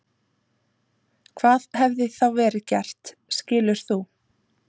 Hvað hefði þá verið gert skilur þú?